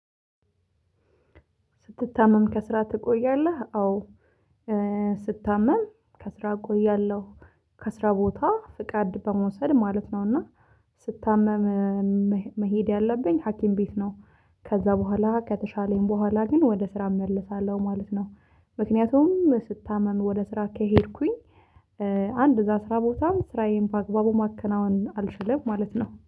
ስትታመም? ከስራ ትቆያለህ አዎ ስታመም ከስራ እቆያለሁ ከስራ ቦታ ፍቃድ በመውሰድ ማለት ነውና። ስታመም መሄድ ያለብኝ ሀኪም ቤት ነው። ከዛ በኋላ ከተሻለኝ በኋላ ግን ወደ ስራ እመልሳለሁ ማለት ነው። ምክንያቱም ስታመም ወደ ስራ ከሄድኩኝ አንድ እዛ አስራ ቦታም ስራዬን በአግባቡ ማከናወን አልችልም ማለት ነው